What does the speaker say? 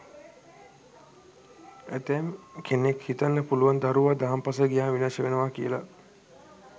ඇතැම් කෙනෙක් හිතන්න පුළුවන් දරුවා දහම් පාසල් ගියහම විනාශ වෙනවා කියලා.